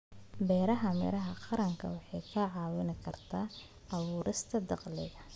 Beerista miraha qaranka waxay kaa caawin kartaa abuurista dakhli.